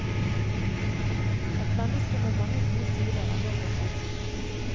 Et menneske med mange gode sider er nå gått bort.